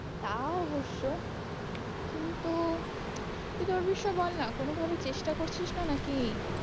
তা অবশ্য কিন্তু তুই তোর বিষয়ে বল না কোনো ভাবে চেষ্টা করছিস না না কি?